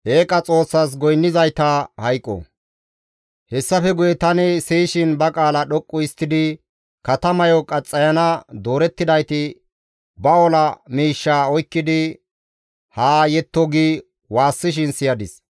Hessafe guye tani siyishin ba qaala dhoqqu histtidi, «Katamayo qaxxayana doorettidayti ba ola miishshaa oykkidi haa yetto» gi waassishin siyadis.